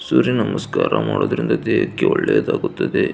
ಸೂರ್ಯ ನಮಸ್ಕಾರ ಮಾಡುವುದರಿಂದ ದೇಹಕ್ಕೆ ಒಳ್ಳೆಯದಾಗುತ್ತದೆ.